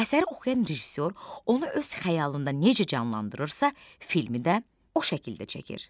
Əsəri oxuyan rejissor onu öz xəyalında necə canlandırırsa, filmi də o şəkildə çəkir.